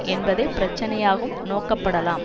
என்பதே பிரச்சனையாகும் நோக்கப்படலாம்